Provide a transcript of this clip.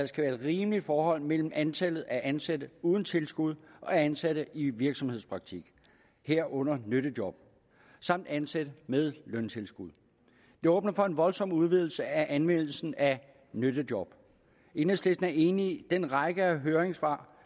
skal være et rimeligt forhold mellem antallet af ansatte uden tilskud og ansatte i virksomhedspraktik herunder nyttejob samt ansatte med løntilskud det åbner for en voldsom udvidelse af anvendelsen af nyttejob enhedslisten er enig i den række af høringssvar